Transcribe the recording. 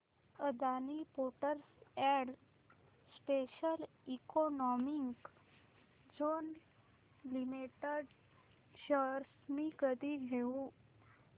Adani ports and special economic zone limited shares मी कधी घेऊ